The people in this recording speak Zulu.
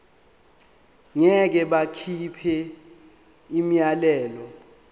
ngeke bakhipha umyalelo